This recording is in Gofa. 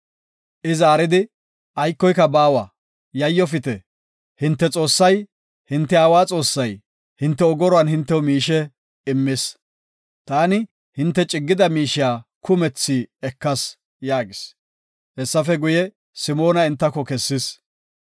I zaaridi, “Aykoy baawa, yayofite; hinte Xoossay, hinte aawa Xoossay, hinte ogoruwan hintew miishe immis. Taani hinte ciggida miishiya kumethi ekas” yaagis. Hessafe guye, Simoona entako kessis.